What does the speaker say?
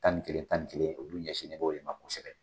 Tan ni kelen tan ni kelen olu ɲɛsinnen bɛ o de ma kosɛbɛ.